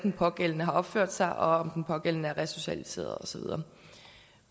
den pågældende har opført sig og om den pågældende er resocialiseret og så videre